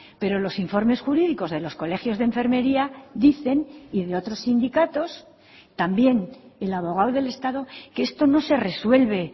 pero los informes jurídicos de los colegios de enfermería dicen y de otros sindicatos también el abogado del estado que esto no se resuelve